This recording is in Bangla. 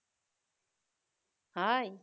hi